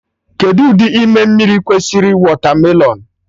Kedụ ụdị ime mmiri kwesịrị wọtamelon?